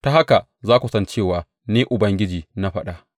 Ta haka za ku san cewa Ni Ubangiji na faɗa.